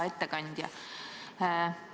Hea ettekandja!